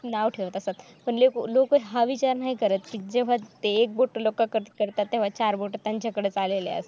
खूप नावं ठेवत असतात लोक हा विचार नाही करत की जेव्हा ते एक ते एक बोट लोकांकडे करतात तेव्हा चार बोटे त्यांच्याकडे आलेल्या असतात